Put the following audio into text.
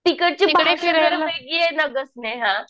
तिकडची भाषा जरा वेगळी आहे ना गं स्नेहा